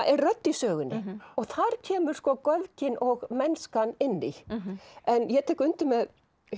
er rödd í sögunni og þar kemur sko göfgin og mennska inn í en ég tek undir með